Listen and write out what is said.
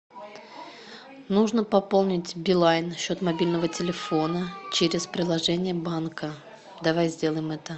нужно пополнить билайн счет мобильного телефона через приложение банка давай сделаем это